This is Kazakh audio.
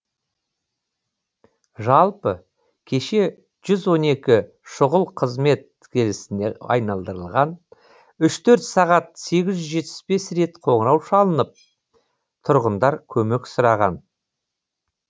жалпы кеше жүз он екі шұғыл қызмет желісіне айналдырылған үш төрт сағат сегіз жүз жетпіс бес рет қоңырау шалынып тұрғындар көмек сұраған